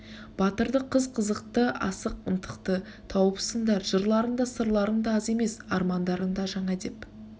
батырды қыз қызықты асық ынтықты тауыпсыңдар жырларың да сырларың да аз емес армандарың да жаңа деп